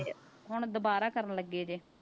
ਹੁਣ ਦੁਬਾਰਾ ਕਰਨ ਲੱਗੇ ਜੇ।